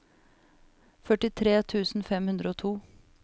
førtitre tusen fem hundre og to